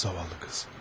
Zavallı qız.